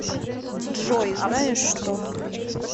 джой знаешь что